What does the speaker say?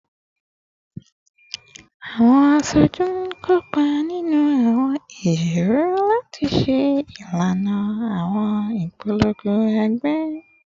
Awọn aṣoju n kopa ninu awọn ijiroro lati ṣe ilana awọn ipolongo ẹgbẹ